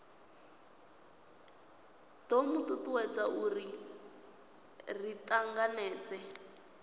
do tutuwedza uri ri tanganedzee